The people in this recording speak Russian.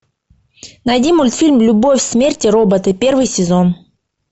найди мультфильм любовь смерть роботы первый сезон